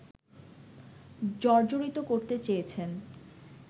জর্জরিত করতে চেয়েছেন